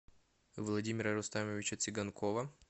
владимира рустамовича цыганкова